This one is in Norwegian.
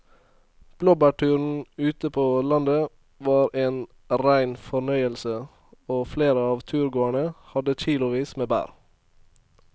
Blåbærturen ute på landet var en rein fornøyelse og flere av turgåerene hadde kilosvis med bær.